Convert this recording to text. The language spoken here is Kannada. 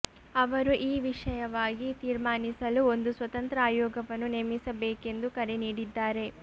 ಅವರು ಈ ವಿಷಯವಾಗಿ ತೀರ್ಮಾನಿಸಲು ಒಂದು ಸ್ವತಂತ್ರ ಆಯೋಗವನ್ನು ನೇಮಿಸಬೇಕೆಂದು ಕರೆ ನೀಡಿದ್ದಾರೆ